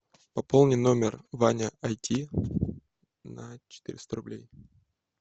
пополни номер ваня айти на четыреста рублей